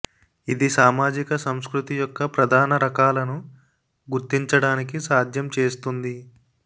ఇది సామాజిక సంస్కృతి యొక్క ప్రధాన రకాలను గుర్తించడానికి సాధ్యం చేస్తుంది